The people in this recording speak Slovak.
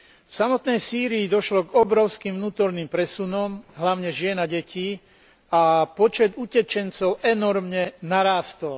V samotnej Sýrii došlo k obrovským vnútorným presunom, hlavne žien a detí, a počet utečencov enormne narástol.